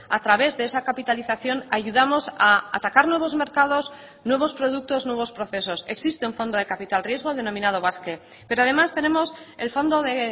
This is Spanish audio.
a través de esa capitalización ayudamos a atacar nuevos mercados nuevos productos nuevos procesos existe un fondo de capital riesgo denominado basque pero además tenemos el fondo de